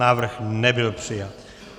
Návrh nebyl přijat.